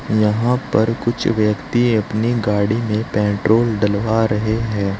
यहां पर कुछ व्यक्ति अपनी गाड़ी में पेट्रोल डलवा रहे हैं।